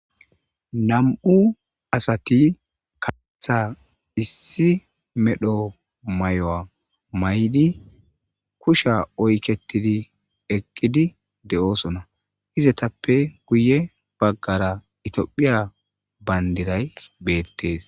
Nam7u asati kaatha issi medho mayuwa mayidi kusha oykettidi eqqidi de7oosona. Izatappe guye baggara itiophiya bandiray beettees.